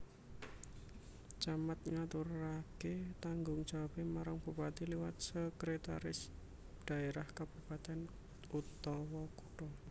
Camat ngaturaké tanggung jawabé marang bupati liwat Sekretaris Daerah Kabupatèn/Kutha